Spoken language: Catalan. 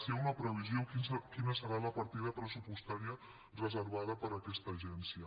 si hi ha una previsió quina serà la partida pressupostària reservada per a aquesta agència